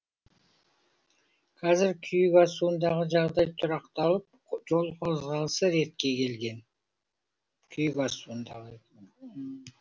қазір күйік асуындағы жағдай тұрақталып жол қозғалысы ретке келген күйік асуындағы